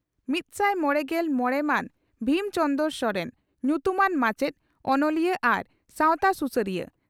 ᱢᱤᱛᱥᱟᱭ ᱢᱚᱲᱮᱜᱮᱞ ᱢᱚᱲᱮ ᱢᱟᱱ ᱵᱷᱤᱢ ᱪᱚᱸᱫᱽᱨᱚ ᱥᱚᱨᱮᱱ ᱾ᱧᱩᱛᱩᱢᱟᱱ ᱢᱟᱪᱮᱛ, ᱚᱱᱚᱞᱤᱭᱟᱹ ᱟᱨ ᱥᱟᱣᱛᱟ ᱥᱩᱥᱟᱹᱨᱤᱭᱟᱹ ᱾